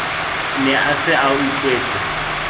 ne a se a utlwetse